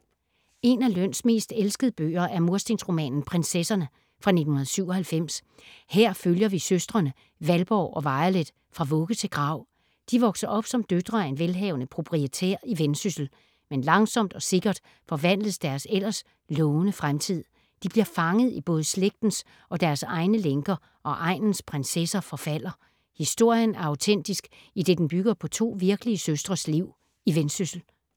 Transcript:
En af Løns mest elskede bøger er murstensromanen Prinsesserne fra 1997. Her følger vi søstrene Valborg og Violet fra vugge til grav. De vokser op som døtre af en velhavende proprietær i Vendsyssel, men langsomt og sikkert forvandles deres ellers lovende fremtid. De bliver fanget i både slægtens og deres egne lænker og egnens prinsesser forfalder. Historien er autentisk, idet den bygger på to virkelige søstres liv i Vendsyssel.